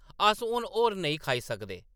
अस हुन होर नेईं खाई सकदे !”